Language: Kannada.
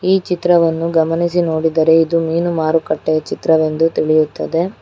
ಈ ಚಿತ್ರವನ್ನು ಗಮನಿಸಿ ನೋಡಿದರೆ ಇದು ಮೀನು ಮಾರುಕಟ್ಟೆ ಚಿತ್ರವೆಂದು ತಿಳಿಯುತ್ತದೆ.